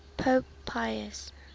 pope pius